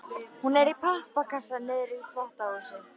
Hún er í pappakassa niðri í þvottahúsi.